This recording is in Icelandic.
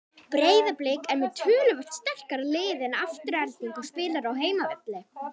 Breiðablik er með töluvert sterkara lið en Afturelding og spilar á heimavelli.